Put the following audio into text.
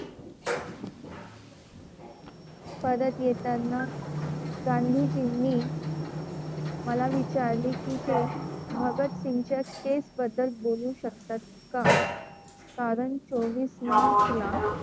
परत येताना गांधीजींनी मला विचारले की ते भगतसिंगच्या केस बद्दल बोलू शकतात का? कारण चोवीस मार्चला,